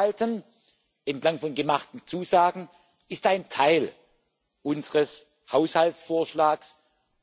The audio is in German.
Wort halten bei den gemachten Zusagen ist ein Teil unseres Haushaltsvorschlags